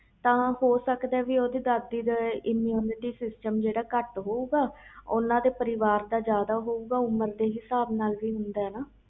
ਤਾ ਹੋ ਸਕਦਾ ਓਹਦੀ ਦਾਦੀ ਦਾ immunity system ਕੱਟ ਹੋਵੇ ਗਾ ਓਹਨੇ ਤੇ ਪਰਿਵਾਰ ਦਾ ਜਿਆਦਾ ਹੋਵੇ ਗਾ ਤਾ ਕਰਕੇ ਵੀ ਹੋ ਸਕਦਾ